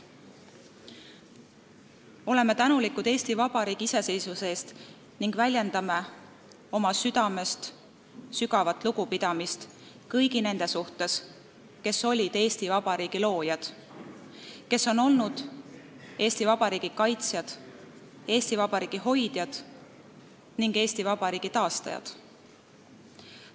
Oleme tänulikud Eesti Vabariigi iseseisvuse eest ning väljendame oma südamest sügavat lugupidamist kõigi nende suhtes, kes on olnud Eesti Vabariigi loojad, selle kaitsjad, hoidjad ja taastajad.